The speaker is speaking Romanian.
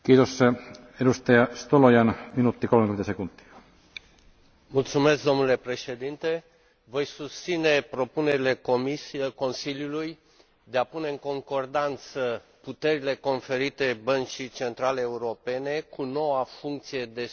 Domnule președinte, voi susține propunerile Consiliului de a pune în concordanță puterile conferite Băncii Centrale Europene cu noua funcție de supraveghere a celor mai importante bănci din Uniunea Europeană.